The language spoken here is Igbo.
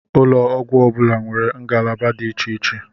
Ụlọ ọgwụ ọbula nwèrè ngalaba dị iche iche